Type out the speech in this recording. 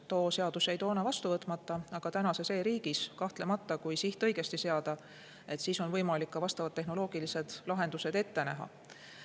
Too seadus jäi toona vastu võtmata, aga tänases e-riigis kahtlemata, kui siht õigesti seada, on võimalik ka vastavad tehnoloogilised lahendused ette näha.